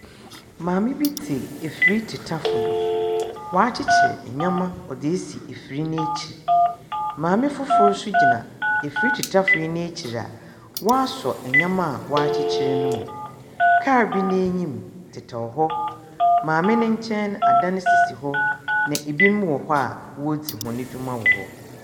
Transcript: Maame bi te efiri titafo do, w'akyikyir enyɛma ɔde asi efiri n'akyir. Maame fofor so gyina efiri titafo yi n'akyir aa waasɔ enyɛma aa wɔakyikyir ne mo. Kaar bi n'anyim titɛw hɔ, maame ne nkyɛn adan sisi hɔ ma ibinom wɔ hɔ aa wodze wɔn adwuma wɔ hɔ.